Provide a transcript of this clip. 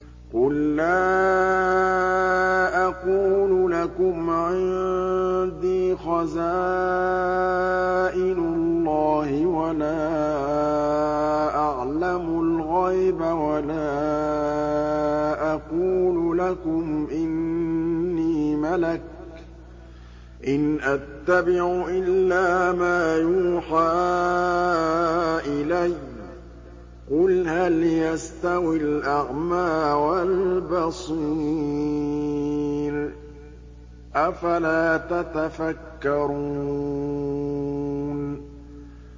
قُل لَّا أَقُولُ لَكُمْ عِندِي خَزَائِنُ اللَّهِ وَلَا أَعْلَمُ الْغَيْبَ وَلَا أَقُولُ لَكُمْ إِنِّي مَلَكٌ ۖ إِنْ أَتَّبِعُ إِلَّا مَا يُوحَىٰ إِلَيَّ ۚ قُلْ هَلْ يَسْتَوِي الْأَعْمَىٰ وَالْبَصِيرُ ۚ أَفَلَا تَتَفَكَّرُونَ